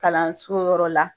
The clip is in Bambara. Kalanso yɔrɔ la.